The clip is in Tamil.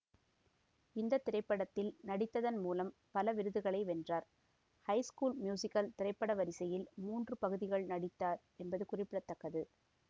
இந்த திரைப்படத்தில் நடித்ததன் மூலம் பல விருதுகளை வென்றார் ஹை ஸ்கூல் மியூசிகல் திரைப்பட வரிசையில் மூன்று பகுதிகள் நடித்தார் என்பது குறிப்படத்தக்கது